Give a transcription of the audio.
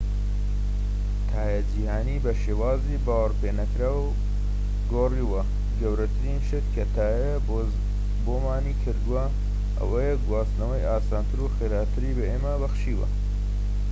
تایە جیھانی بە شێوازی باوەڕپێنەکراو گۆڕیوە گەورەترین شت کە تایە بۆمانی کردووە ئەوەیە گواستنەوەی ئاسانتر و خێراتری بە ئێمە بەخشیوە